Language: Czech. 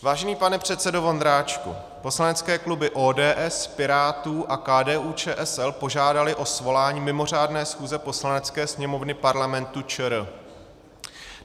Vážený pane předsedo Vondráčku, poslanecké kluby ODS, Pirátů a KDU-ČSL požádaly o svolání mimořádné schůze Poslanecké sněmovny Parlamentu ČR.